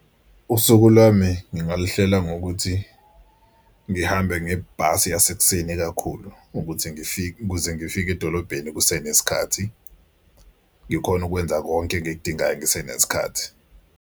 Usuku lwami ngingaluhlela ngokuthi ngihambe ngebhasi yasekuseni kakhulu ukuthi ngifike ukuze ngifike edolobheni kusenesikhathi ngikhone ukwenza konke engikudingayo ngisenesikhathi.